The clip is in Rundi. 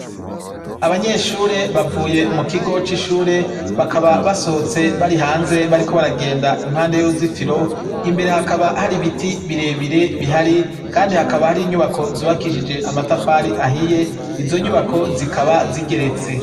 Abanyeshure bavuye mu kigo c'ishure bakaba basohotse bari hanze bariko baragenda impande y'uruzitiro imbere hakaba hari ibiti birebire bihari kandi hakaba hari inyubako zubakishije amatafari ahiye ,izo nyubako zikaba zigeretse.